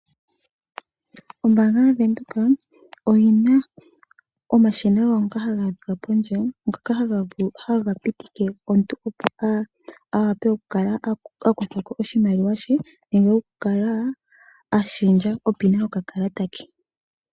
Ombaanga ya Venduka oyi na omashina gawo ngoka haga adhika pondje, ngoka haga pitike omuntu opo a wape oku kala akuthako oshimaliwa she, nenge oku kala a shendja opina yoka kalata ke.